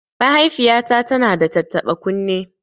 Mahaifiyata tana da tattaɓa kunne